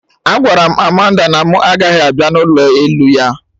Agwara m Amanda na mụ agaghị abịa n'ụlọ elu ya